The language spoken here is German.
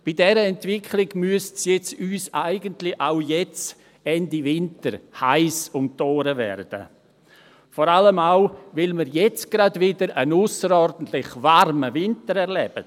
Bei dieser Entwicklung müsste es uns nun eigentlich auch jetzt, Ende Winter, heiss um die Ohren werden, vor allem auch, weil wir jetzt gerade wieder einen ausserordentlich warmen Winter erleben.